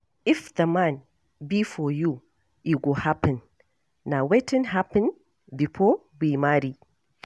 If the man be for you, e go happen. Na wetin happen before we marry.